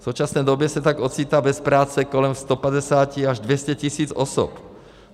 V současné době se tak ocitá bez práce kolem 150 až 200 tisíc osob.